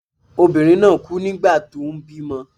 Obìnrin náà kú nígbà tó ń bímọ.